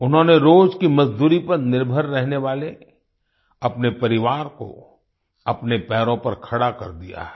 उन्होंने रोज की मजदूरी पर निर्भर रहने वाले अपने परिवार को अपने पैरों पर खड़ा कर दिया है